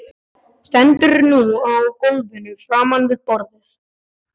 Stendur nú á gólfinu framan við borðið.